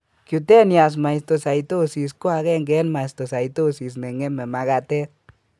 Cutaneous mastocytosis ko agenge en mastocytosis neng'eme magatet